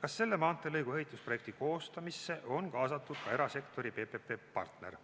kas selle maanteelõigu ehitusprojekti koostamisse on kaasatud ka erasektori PPP partner.